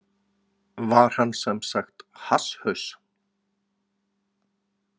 Var hann semsagt hasshaus?